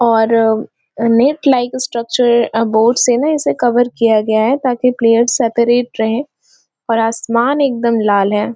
और अनेक light structure और बोर्डस इसे कवर किया गया है ताकि प्लेयर्स सेपरेट रहे और आसमान एकदम लाल है।